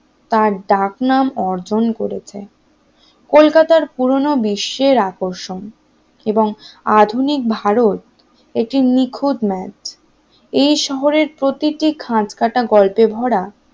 তার ডাক নাম অর্জন করেছে কলকাতা পুরানো বিশ্বের আকর্ষণ এবং আধুনিক ভারত একটি নিখুঁত ম্যাপ এই শহরে প্রতিটি খাঁজকাটা গল্পের ভরা